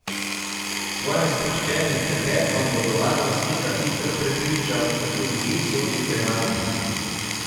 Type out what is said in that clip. S svojim sproščenim klepetom bodo varnostnika hitro prepričal, da tudi vi sodite nanjo.